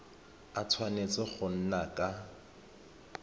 a tshwanetse go nna ka